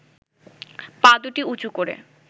পা দুটি উঁচু করে